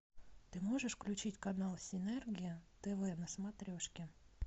ты можешь включить канал синергия тв на смотрешке